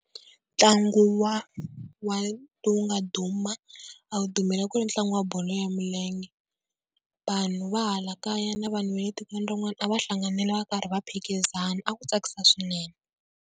Ntlangu wa wa lowu nga duma a wu dumile a ku ri ntlangu wa bolo ya milenge. Vanhu va hala kaya na vanhu va le tikweni rin'wana a va hlanganile va karhi va phikizana a ku tsakisa swinene.